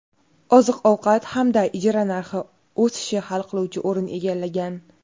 oziq-ovqat hamda ijara narxi o‘sishi hal qiluvchi o‘rin egallagan.